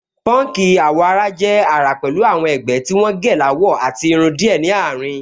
Pọ́nkì àwọ̀-ara jẹ́ àrà pẹ̀lú àwọn ẹ̀gbẹ́ tí wọ́n gẹ́ láwọ àti irun díẹ̀ ní àárín